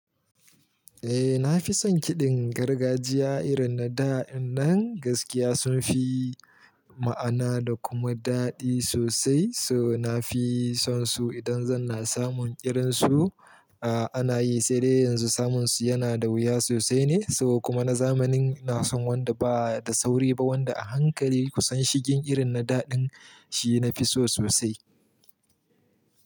Eh, nafi son kiɗan gargajiya irin na da ɗin nan. Gaskiya sunfi ma'ana da kuma daɗi sosai. So nafi son su idan zan na samun irinsu, a ana yi saidai yanzu samun su yanada wuya sosai ne. To kuma na zamanin ina san wanda bada sauri ba wanda a hankali kusan shigin irin na daɗin shi nafi so sosai.